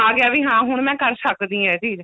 ਆ ਗਿਆ ਵੀ ਹਾਂ ਹੁਣ ਮੈਂ ਕਰ ਸਕਦੀ ਹਾਂ ਇਹ ਚੀਜ਼